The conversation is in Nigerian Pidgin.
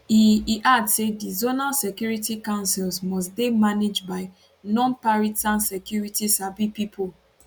e e add say di zonal security councils must dey managed by nonparitsan security sabi pipo